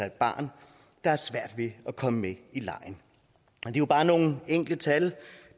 et barn der har svært ved at komme med i legen og det er jo bare nogle enkelte tal